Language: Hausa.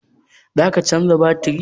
Za ka canza batiri?